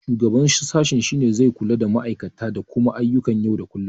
Shugaban sashe shine zai kula da duba ma'aikata da kuma ayyukan yau da kullum.